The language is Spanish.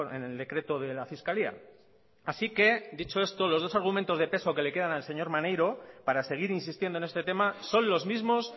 en el decreto de la fiscalía así que dicho esto los dos argumentos de peso que le quedan al señor maneiro para seguir insistiendo en este tema son los mismos